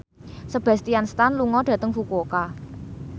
Sebastian Stan lunga dhateng Fukuoka